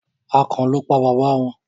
akàn lọ pá baba wón.